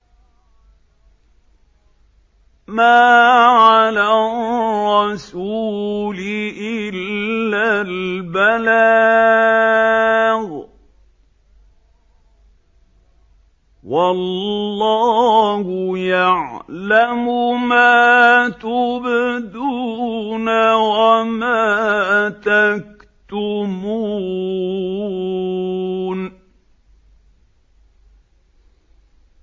مَّا عَلَى الرَّسُولِ إِلَّا الْبَلَاغُ ۗ وَاللَّهُ يَعْلَمُ مَا تُبْدُونَ وَمَا تَكْتُمُونَ